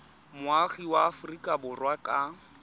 moagi wa aforika borwa ka